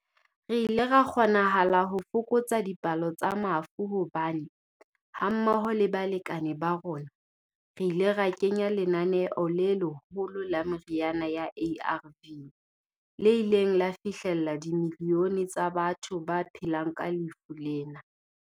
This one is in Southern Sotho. Re ile ra kgonahala ho fokotsa dipalo tsa mafu hobane, ha mmoho le balekane ba rona, re ile ra kenya lenaneo le leholo la meriana ya ARV le ileng la fihlella dimilione tsa batho ba phelang ka lefu lena.